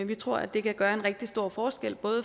vi tror at det kan gøre en rigtig stor forskel